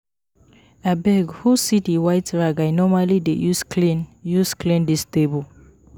Abeg who see the white rag I normally dey use clean use clean dis table